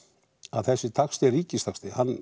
þessi taxti er ríkistaxti um